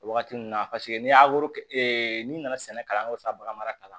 O wagati nun na paseke n'i y'a n'i nana sɛnɛ kalanyɔrɔ sa bagan mara